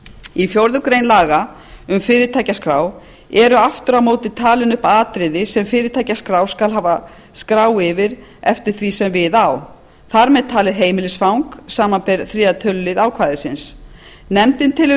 í fjórða grein laga um fyrirtækjaskrá eru aftur á móti talin upp atriði sem fyrirtækjaskrá skal hafa skrá yfir eftir því sem við á þar með talin heimilisfang samanber þriðja tölulið ákvæðisins nefndin telur